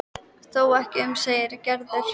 Þó ekki um of segir Gerður.